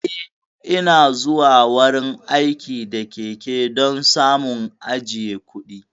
Eh, Ina zuwa wurin aiki da keke don samun ajiye kuɗi.